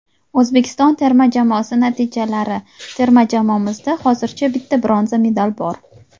Oʼzbekiston terma jamoasi natijalari: Terma jamoamizda hozircha bitta bronza medal bor.